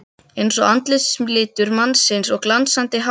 Einsog andlitslitur mannsins og glansandi hár.